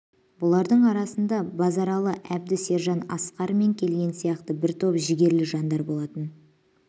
бұлардың арасында базаралы әбді сержан асқар мен келден сияқты бір топ жігерлі жандар болатын